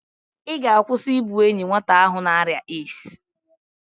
Ị ga̧-akwụsị i bu enye nwata ahụ n'arịa AIDS?